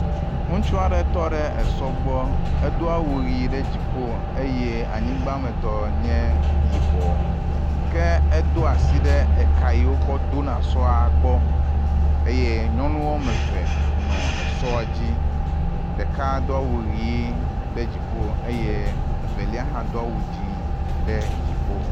Ŋutsu aɖe tɔ ɖe esɔ gbɔ. Edo awu ʋi ɖe dziƒo eye anyigbametɔ nye yibɔ ke edo asi ɖe eka yiwo kɔ do na esɔa gbɔ eye nyɔnu wɔme eve nɔ esɔa dzi. Ɖeka do awu ʋi ɖe dziƒo eye evelia hã do awu dzi ɖe dziƒo.